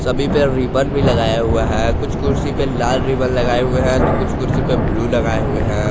सभी पे रिबन भी लगाया हुआ है कुछ कुर्सी पे लाल रिबन लगाए हुए है तो कुछ कुर्सी पे ब्लू लगाए हुए है।